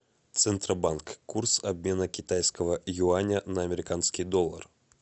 центробанк курс обмена китайского юаня на американский доллар